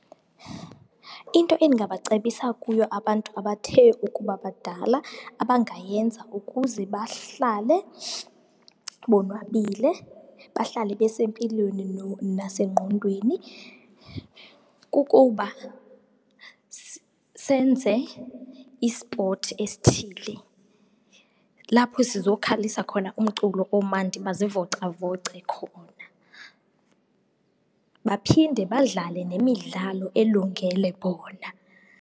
Into endingabacebisa kuyo abantu abathe ukuba badala abangayenza ukuze bahlale bonwabile, bahlale besempilweni nasengqondweni kukuba senze i-sport esithile. Lapho sizokhalisa khona umculo omandi bazivocavoce khona, baphinde badlale nemidlalo elungele bona.